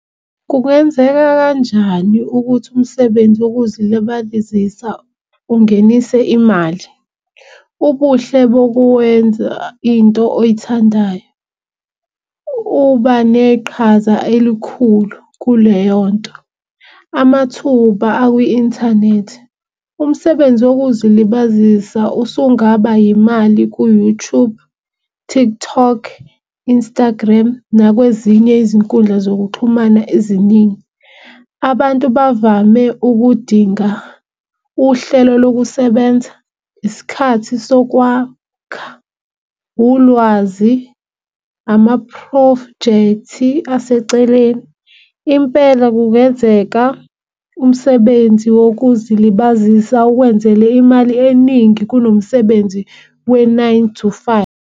Kungenzeka kanjani ukuthi umsebenzi wokuzilibalizisa ungenise imali. Ubuhle bokuwenza into oyithandayo uba neqhaza elikhulu kuleyo nto. Amathuba akwi-inthanethi, umsebenzi wokuzilibazisa usungaba yimali ku-YouTube, TikTok, Instagram nakwezinye izinkundla zokuxhumana eziningi. Abantu bavame ukudinga uhlelo lokusebenza, isikhathi sokwakha, ulwazi, amaphrojekthi aseceleni. Impela kungenzeka umsebenzi wokuzilibazisa ukwenzele imali eningi kunomsebenzi we-nine to five.